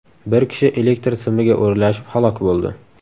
Bir kishi elektr simiga o‘ralashib halok bo‘ldi.